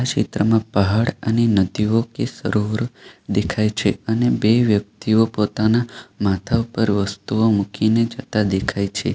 ચિત્રમાં પહાડ અને નદીઓ કે સરોવર દેખાય છે અને બે વ્યક્તિઓ પોતાના માથા ઉપર વસ્તુઓ મૂકીને જતા દેખાય છે.